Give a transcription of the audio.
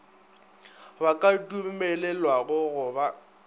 ba ka dumelelwago go ba